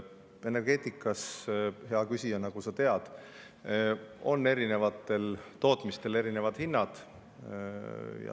Energeetikas, hea küsija, nagu sa tead, on eri tootmistel erinevad hinnad.